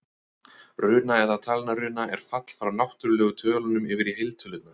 Runa, eða talnaruna, er fall frá náttúrlegu tölunum yfir í heiltölurnar.